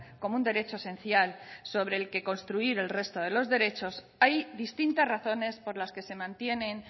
como un derecho esencial sobre el que construir el resto de los derechos hay distintas razones por las que se mantienen